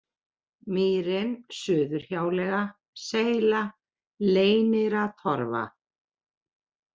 Mýrin, Suðurhjáleiga, Seyla, Leyniratorfa